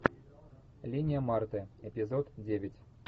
линия марты эпизод девять